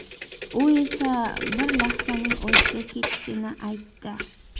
U esa bir lahzaning o‘zida ketishini aytdi.